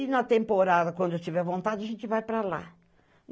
E na temporada, quando eu tiver vontade, a gente vai para lá.